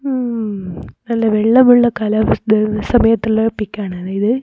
ഹും നല്ല വെള്ളമുള്ള കാലാവസ്ഥ സമയത്തുള്ള പിക്ക് ആണ് അതായത്--